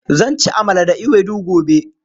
Zan ci amala da ewedu gobe.